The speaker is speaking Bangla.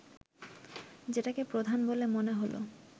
যেটাকে প্রধান বলে মনে হল